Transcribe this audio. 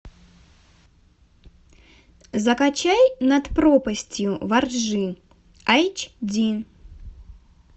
закачай над пропастью во ржи айч ди